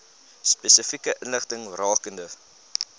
spesifieke inligting rakende